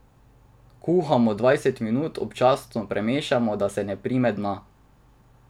Kuhamo dvajset minut, občasno premešamo, da se ne prime dna.